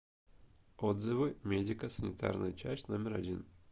отзывы медико санитарная часть номер один